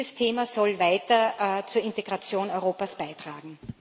Dieses Thema soll weiter zur Integration Europas beitragen.